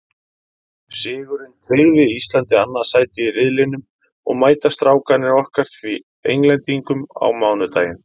Sigurinn tryggði Íslandi annað sætið í riðlinum og mæta Strákarnir okkar því Englendingum á mánudaginn.